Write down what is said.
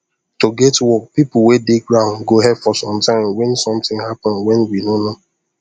to get work people weh dey ground go help for some time wen something happened wen we no no